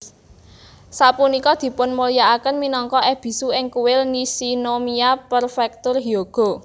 Sapunika dipunmulyakaken minangka Ebisu ing Kuil Nishinomiya Prefektur Hyogo